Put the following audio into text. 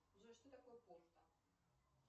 джой что такое порта